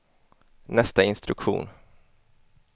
nästa instruktion